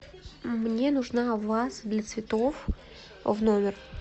мне нужна ваза для цветов в номер